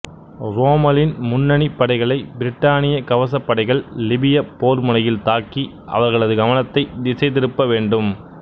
ரோம்மலின் முன்னணிப் படைகளை பிரிட்டானிய கவசப் படைகள் லிபியப் போர் முனையில் தாக்கி அவர்களது கவனத்தைத் திசை திருப்ப வேண்டும்